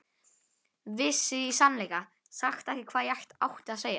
Vissi í sannleika sagt ekki hvað ég átti að segja.